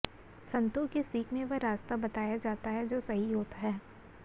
संतों की सीख में वह रास्ता बताया जाता है जो सही होता है